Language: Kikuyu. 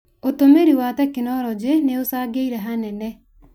ũtũmĩri wa tekinoronjĩ nĩ ũcangĩire hanene